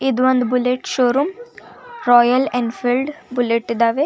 ಇದು ಒಂದು bullet showroom Royal Enfield bullet ಇದ್ದವೇ.